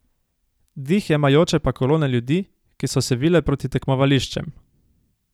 Dih jemajoče pa kolone ljudi, ki so se vile proti tekmovališčem.